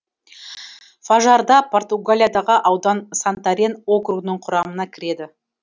фажарда португалиядағы аудан сантарен округінің құрамына кіреді